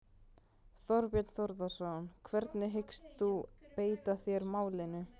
Þorbjörn Þórðarson: Hvernig hyggst þú beita þér í málinu?